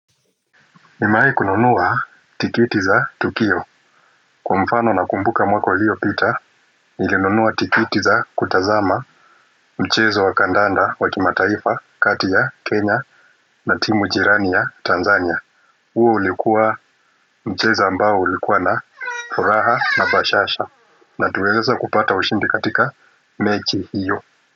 Nimewahi kununua tikiti za Tukio, kwa mfano nakumbuka mwako uliopita, nilinunua tikiti za kutazama mchezo wa kandanda wa kimataifa kati ya, Kenya, na timu jirani ya Tanzania huo ulikuwa mchezo ambao ulikuwa na furaha na bashasha, na tuliweza kupata ushindi katika mechi hiyo.